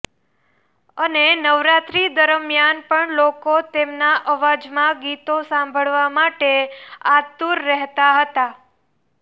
અને નવરાત્રી દરમિયાન પણ લોકો તેમના અવાજમાં ગીતો સાંભળવા માટે આતુર રહેતા હતા